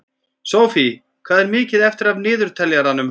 Sophie, hvað er mikið eftir af niðurteljaranum?